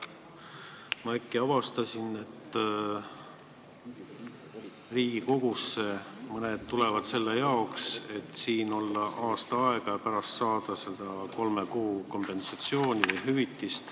Ma äkki avastasin, et Riigikogusse tulevad inimesed selle jaoks, et siin olla aasta aega ja pärast saada kolme kuu palga ulatuses kompensatsiooni.